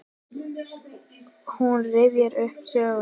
Hún rifjar upp söguna.